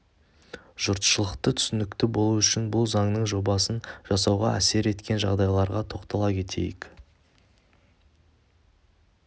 жұртшылыққа түсінікті болу үшін бұл заңның жобасын жасауға әсер еткен жағдайларға тоқтала кетейік